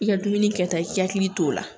I ka dumuni kata i hakili t'o la